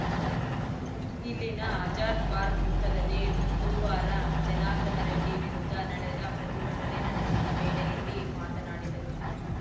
ಇಲ್ಲಿನ ಆಜಾದ್‌ ಪಾರ್ಕ್ ವೃತ್ತದಲ್ಲಿ ಬುಧುವಾರ ಜನಾರ್ದನ ರೆಡ್ಡಿ ವಿರುದ್ಧ ನಡೆದ ಪ್ರತಿಭಟನೆ ನಡೆಸಿದ ವೇಳೆಯಲ್ಲಿ ಮಾತನಾಡಿದರು